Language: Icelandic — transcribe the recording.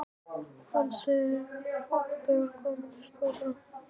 Hann segir fátt þegar þau koma inn í stofuna.